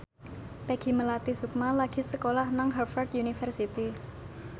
Peggy Melati Sukma lagi sekolah nang Harvard university